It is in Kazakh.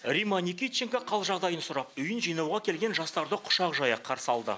римма никитченко хал жағдайын сұрап үйін жинауға келген жастарды құшақ жая қарсы алды